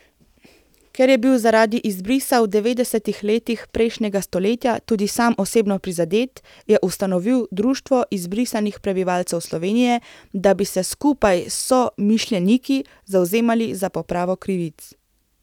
Ker je bil zaradi izbrisa v devetdesetih letih prejšnjega stoletja tudi sam osebno prizadet, je ustanovil Društvo izbrisanih prebivalcev Slovenije, da bi se skupaj s somišljeniki zavzemali za popravo krivic.